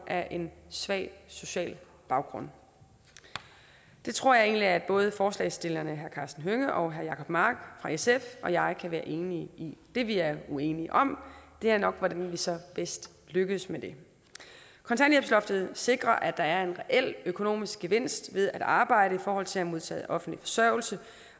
af en svag social baggrund det tror jeg egentlig at både forslagsstillerne herre karsten hønge og herre jacob mark fra sf og jeg kan være enige i det vi er uenige om er nok hvordan vi så bedst lykkes med det kontanthjælpsloftet sikrer at der er en reel økonomisk gevinst ved at arbejde i forhold til at modtage offentlig forsørgelse